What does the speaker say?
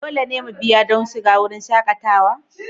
Dole ne mu biya don shiga wurin shakatawa?